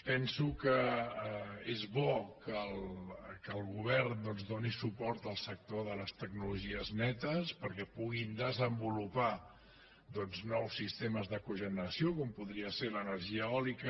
penso que és bo que el govern doncs doni suport al sector de les tecnologies netes perquè puguin desenvolupar nous sistemes de cogeneració com podria ser l’energia eòlica